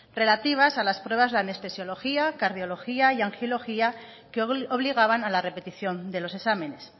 relativas a las pruebas de anestesiología cardiología y angiología que obligaban a la repetición de los exámenes